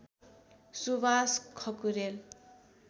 Suwas Khakurel